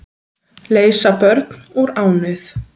Leysa börn úr ánauð